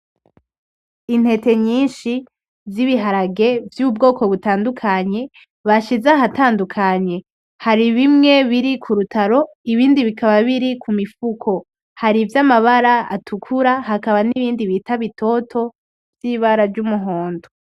Intete nyinshi zibiharage vyubwoko butandukanye bashize ahatandukanye, hari bimwe biri kurutaro ibindi bikaba biri kumifuko hari vyamabara atukura hakaba n'ibindi bita bitoto vy'ibara ry'umuhondo.